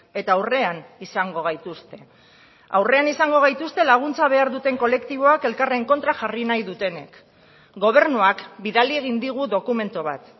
eta aurrean izango gaituzte aurrean izango gaituzte laguntza behar duten kolektiboak elkarren kontra jarri nahi dutenek gobernuak bidali egin digu dokumentu bat